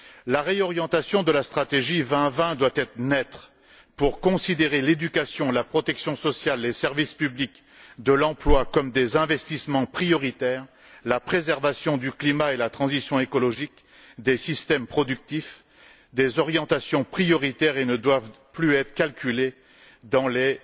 La réorientation de la stratégie 2020 doit être nette afin de considérer l'éducation, la protection sociale, les services publics de l'emploi comme des investissements prioritaires, la préservation du climat et la transition écologique des systèmes productifs comme des orientations prioritaires, qu'il convient de ne plus prendre en compte dans les